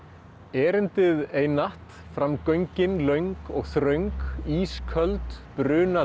erindið einatt fram göngin löng og þröng ísköld